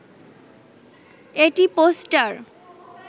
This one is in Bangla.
এটি পোস্টার